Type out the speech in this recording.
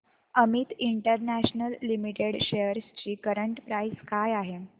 Amit international limited shares ची current price काय आहे